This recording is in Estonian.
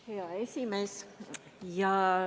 Hea esimees!